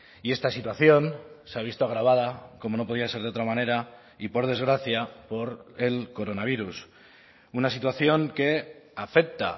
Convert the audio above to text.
y esta situación se ha visto agravada como no podía ser de otra manera y por desgracia por el coronavirus una situación que afecta